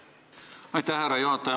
Aitäh, härra juhataja!